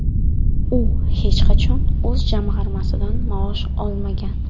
U hech qachon o‘z jamg‘armasidan maosh olmagan.